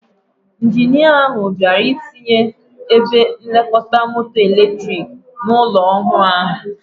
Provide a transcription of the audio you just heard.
Ijinia ahụ bịara ịtinye ebe nlekọta moto eletrik n'ụlọ ọhụụ ahụ.